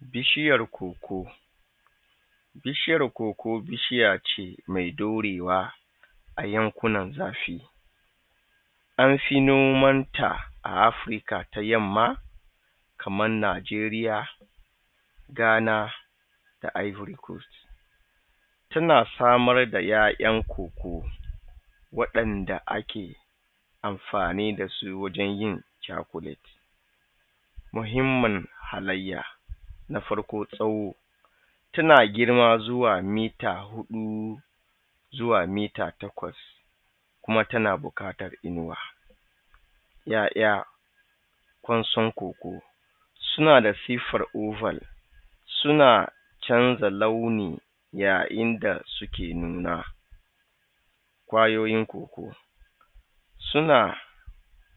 Bishiyar Koko, bishiyar koko bishiya ce mai ɗorewa a yankunan zafi. An fi nomanta a Afrika ta yamma kaman Najeriya, Ghana da Ivory coast Tana samar da yayan koko waɗanda ake amfani da su wajen yin cakuleti. Muhimmin halayya. Na farko, tsawo. Tana girma zuwa mita hudu zuwa mita takwas kuma tana buƙatan inuwa. Yaya ƙwanson koko, suna da siffan oval suna canza launi yayin da suke nuna. Ƙwayoyin koko, suna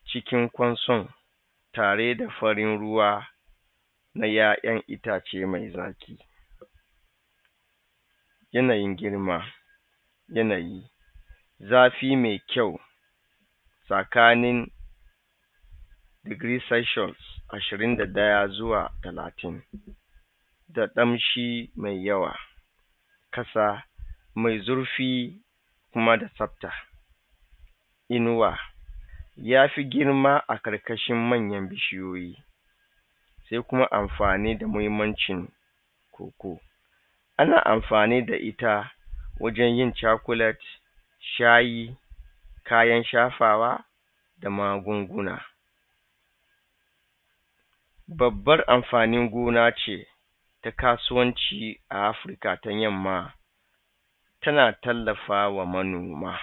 cikin ƙwanson tare da farin ruwa na yayan itace mai zaki. Yanayin girma yanayi zafi mai kyau tsakanin degree Celsius 21 zuwa 30 da ƙamshi mai yawa ƙasa mai zurfi kuma da tsafta. inuwa ya fi girma a ƙarƙashin manyan bishiyoyi. Sai kuma amfani da muhimmanci koko Ana amfani da ita wajen yin cakulet shayi kayan shafawa da magunguna Babbar amfanin gona ce ta kasuwanci a Afirka ta yamma tana tallafawa manoma.